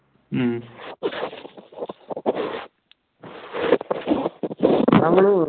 ഉം